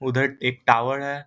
उधर एक टावर है ।